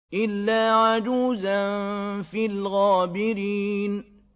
إِلَّا عَجُوزًا فِي الْغَابِرِينَ